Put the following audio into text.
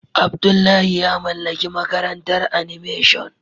Abdullahi ya mallaki makarantar animation.